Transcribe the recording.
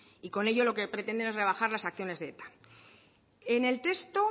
y con ello lo que pretenden es rebajar las acciones de eta en el texto